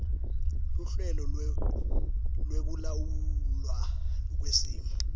luhlelo lwekulawulwa kwesimo